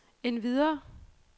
endvidere